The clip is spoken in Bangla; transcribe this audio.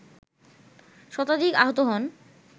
শতাধিক আহত হন